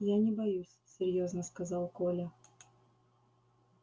я не боюсь серьёзно сказал коля